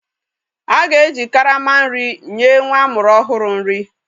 A ga-eji karama nri nye nwa amụrụ ọhụrụ nri.